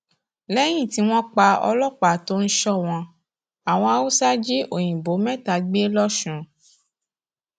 lẹyìn tí wọn pa ọlọpàá tó ń sọ wọn àwọn haúsá jí òyìnbó mẹta gbé lọsùn